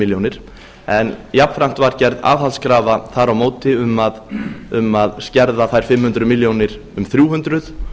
milljónir en jafnframt var gerð aðhaldskrafa þar á móti um að skerða þær fimm hundruð milljónir um þrjú hundruð